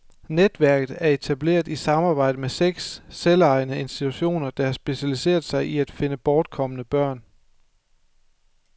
Netværket er etableret i samarbejde med seks selvejende institutioner, der har specialiseret sig i at finde bortkomne børn.